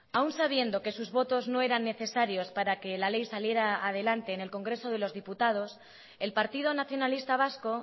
aún sabiendo que sus votos no eran necesarios para que la ley saliera adelante en el congreso de los diputados el partido nacionalista vasco